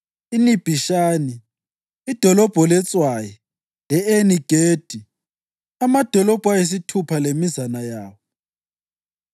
iNibhishani, iDolobho letswayi le-Eni-Gedi, amadolobho ayisithupha lemizana yawo.